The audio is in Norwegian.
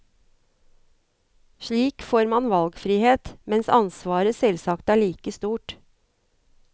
Slik får man valgfrihet, mens ansvaret selvsagt er like stort.